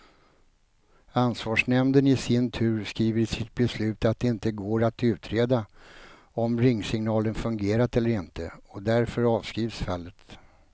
Ansvarsnämnden i sin tur skriver i sitt beslut att det inte går att utreda om ringsignalen fungerat eller inte, och därför avskrivs fallet.